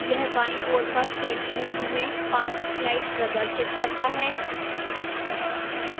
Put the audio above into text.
यह बाईं ओर पर print preview में 5 slides प्रदर्शित करता है